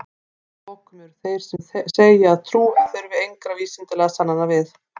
að lokum eru þeir sem segja að trú þurfi engra vísindalegra sannana við